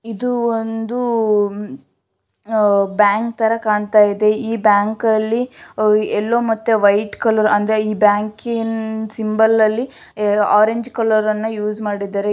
ಇದು ಒಂದು ಬ್ಯಾಂಕ್ ತರ ಕಾಣಿಸ್ತಿದೆ ಬ್ಯಾಂಕಲ್ಲಿ ಎಲ್ಲೋ ಮತ್ತೆ ವೈಟ್ ಕಲರ್ ಅಂದ್ರೆ ಬ್ಯಾಂಕಿನ ಸಿಂಬಲ್ ಅಲ್ಲಿ ಆರೆಂಜ್ ಕಲರ್ ಅನ್ನ ಯುಸ್ ಮಾಡಿದರೆ.